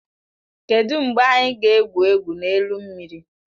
Kedụ mgbe anyị ga-egwu egwu n'elu mmiri?